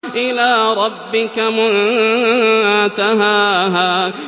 إِلَىٰ رَبِّكَ مُنتَهَاهَا